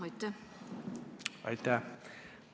Aitäh!